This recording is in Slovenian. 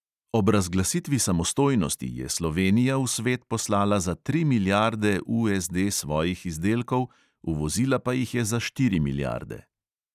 Ob razglasitvi samostojnosti je slovenija v svet poslala za tri milijarde USD svojih izdelkov, uvozila pa jih je za štiri milijarde.